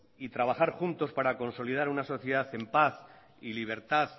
y trabajar juntos para consolidar una sociedad en paz y libertad